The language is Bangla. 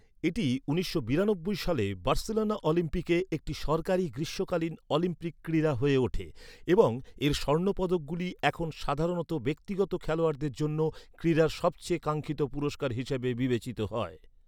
এটি উনিশশো বিরানব্বই সালে বার্সেলোনা অলিম্পিকে একটি সরকারী গ্রীষ্মকালীন অলিম্পিক ক্রীড়া হয়ে ওঠে এবং এর স্বর্ণ পদকগুলি এখন সাধারণত ব্যক্তিগত খেলোয়াড়দের জন্য ক্রীড়ার সবচেয়ে কাঙ্ক্ষিত পুরষ্কার হিসাবে বিবেচিত হয়।